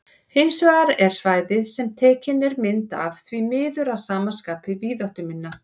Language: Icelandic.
Hins vegar er svæðið sem tekin er mynd af því miður að sama skapi víðáttuminna.